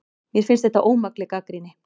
Mér finnst þetta ómakleg gagnrýni